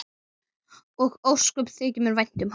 Og ósköp þykir mér vænt um hana.